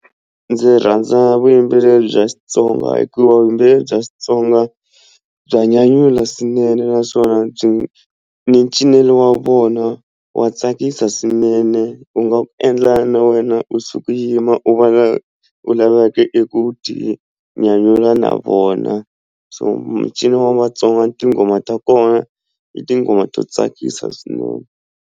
Ndzi rhandza vuyimbeleri bya Xitsonga hikuva vuyimbeleri bya Xitsonga bya nyanyula swinene naswona byi ni cinelo wa vona wa tsakisa swinene u nga endla na wena u suka u yima u va u laveka eku tinyanyula na vona so mincino wa Vatsonga tinghoma ta kona i tingoma to tsakisa swinene.